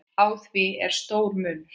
Á því er stór munur.